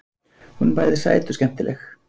Hún er bæði sæt og skemmtileg.